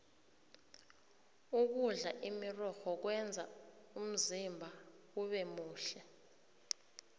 ukudla imirorho kwenza umzimba ubemuhle